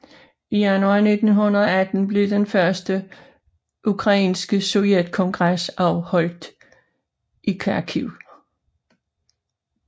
I januar 1918 blev den første ukrainske sovjetkongres afholdt i Kharkiv